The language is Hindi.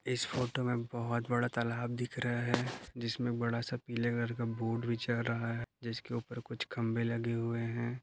इस फोटो में बहुत बड़ा तालाब दिख रहा हैं। जिसमे बड़ासा पिले कलर का बोट भी चल रहा हैं। जिसके ऊपर कुछ खम्बे लगे हुए हैं।